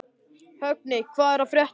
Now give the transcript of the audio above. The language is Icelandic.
Högni, hvað er að frétta?